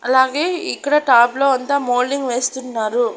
అలాగే ఇక్కడ టాప్ లో అంతా మోల్డింగ్ వేస్తున్నారు.